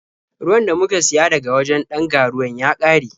Ruwan da muka siya daga wajen ɗan ga-ruwan ya ƙare.